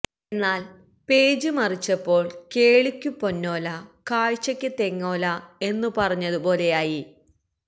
എന്നാല് പേജ് മറിച്ചപ്പോള് കേള്വിക്കു പൊന്നോല കാഴ്ചയ്ക്ക് തെങ്ങോല എന്നു പറഞ്ഞതുപോലെയായി